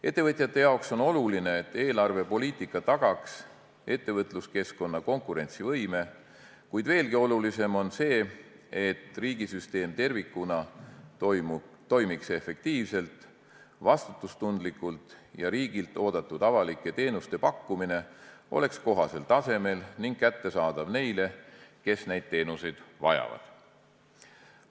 Ettevõtjate jaoks on oluline, et eelarvepoliitika tagaks ettevõtluskeskkonna konkurentsivõime, kuid veelgi olulisem on see, et riigisüsteem tervikuna toimiks efektiivselt, vastutustundlikult ja et riigilt oodatud avalike teenuste pakkumine oleks kohasel tasemel ning kättesaadav neile, kes neid teenuseid vajavad.